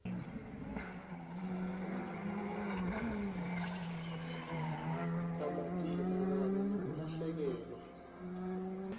kamatima kanye nekulahlekelwa